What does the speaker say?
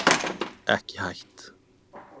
Ekki hætt